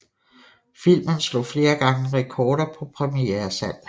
Filmen slog flere gange rekorder på premieresalg